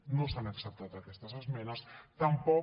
no s’han acceptat aquestes esmenes tampoc